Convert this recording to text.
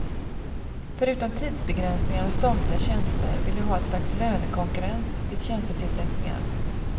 Förutom tidsbegränsningen av statliga tjänster vill de ha ett slags lönekonkurrens vid tjänstetillsättningar.